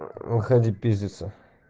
выходи пиздиться